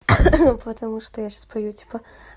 потому что я сейчас пою типа